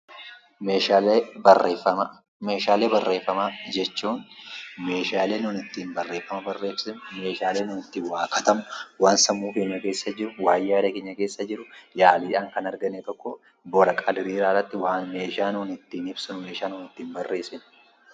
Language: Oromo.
Meeshaalee Barreefamaaa: Meeshaalee barreeffamaa jechuun meeshaalee nun ittiin waa barreessinu, meeshaalee nuti ittiin waa katabnu, waan sammuu keenya keessa jiru, waan yaada keenya keessa jiru yaaduudhaan kan argame waraqaa diriiraa irratti meeshaa nuti ittiin ibsinu, meeshaa nuti ittiin barreessinudha.